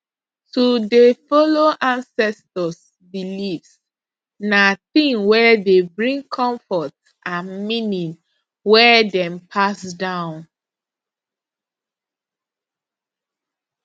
to dey follow ancestors beliefs na thing wey dey bring comfort and meaning wey dem pass down